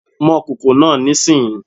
Mọ kòkò náà nísìnyí!